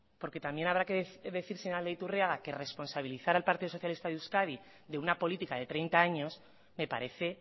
porque también habrá que decir señor aldaiturriaga que responsabilizar al partido socialista de euskadi de una política de treinta años me parece